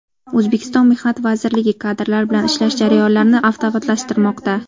O‘zbekiston Mehnat vazirligi kadrlar bilan ishlash jarayonlarini avtomatlashtirmoqda.